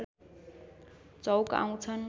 चौक आउँछन्